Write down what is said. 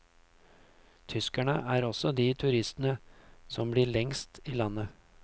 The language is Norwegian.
Tyskerne er også de turistene som blir lengst i landet.